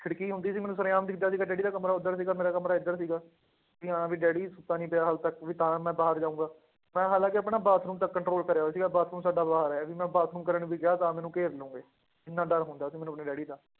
ਖਿੜਕੀ ਹੁੰਦੀ ਸੀ ਮੈਨੂੰ ਸਰੇਆਮ ਦਿਸਦਾ ਸੀਗਾ ਡੈਡੀ ਦਾ ਕਮਰਾ ਉੱਧਰ ਸੀਗਾ ਮੇਰਾ ਕਮਰਾ ਇੱਧਰ ਸੀ, ਵੀ ਹਾਂ ਵੀ ਡੈਡੀ ਸੁੱਤਾ ਨੀ ਪਿਆ ਹਾਲੇ ਤੱਕ ਵੀ ਤਾਂ ਮੈਂ ਬਾਹਰ ਜਾਊਂਗਾ, ਮੈਂ ਹਾਲਾਂਕਿ ਆਪਣਾ ਬਾਥਰੂਮ ਤੱਕ control ਕਰਿਆ ਹੋਇਆ ਸੀਗਾ ਬਾਥਰੂਮ ਸਾਡਾ ਬਾਹਰ ਹੈ ਵੀ ਮੈਂ ਬਾਥਰੂਮ ਕਰਨ ਵੀ ਗਿਆ ਤਾਂ ਮੈਨੂੰ ਘੇਰ ਲਓਗੇ, ਇੰਨਾ ਡਰ ਹੁੰਦਾ ਸੀ ਮੈਨੂੰ ਆਪਣੇ ਡੈਡੀ ਦਾ